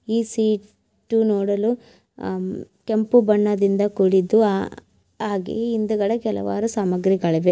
ಈ ಸೀಟು ನೋಡಲು ಆ ಕೆಂಪು ಬಣ್ಣದಿಂದ ಕೂಡಿದ್ದು ಆಹ್ ಹಾಗೆ ಹಿಂದೆಗಡೆ ಕೆಲವಾರು ಸಾಮಗ್ರಿಗಳು ಇವೆ.